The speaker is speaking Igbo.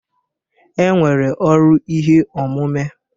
E nwere ọrụ ihe omume.